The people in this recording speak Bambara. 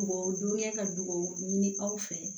Mɔgɔw dunya ka duw ɲini aw fɛ